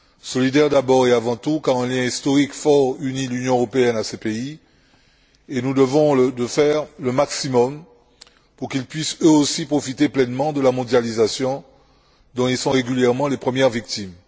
Solidaire d'abord et avant tout car un lien historique fort unit l'Union européenne à ces pays et nous devons faire le maximum pour qu'ils puissent eux aussi profiter pleinement de la mondialisation dont ils sont régulièrement les premières victimes.